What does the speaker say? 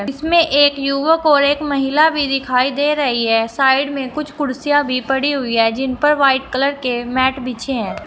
इसमें एक युवक और एक महिला भी दिखाई दे रही है साइड में कुछ कुर्सियां भी पड़ी हुई है जिन पर व्हाइट कलर के मैट पीछे है।